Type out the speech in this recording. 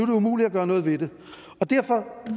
det umuligt at gøre noget ved det derfor